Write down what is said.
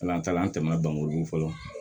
an tɛmɛna dɔnkojugu fɔlɔ